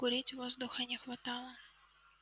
курить воздуха не хватало